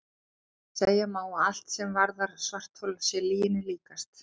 Segja má að allt sem varðar svarthol sé lyginni líkast.